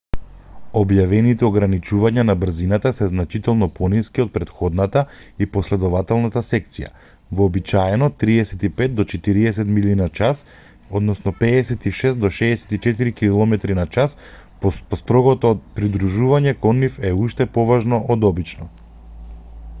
објавените ограничувања на брзината се значително пониски од претходната и последователната секција вообичаено 35-40 ми/ч 56-64 км/ч па строгото придржување кон нив е уште поважно од обично